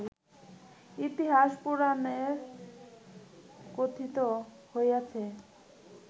ইতিহাস পুরাণে কথিত হইয়াছে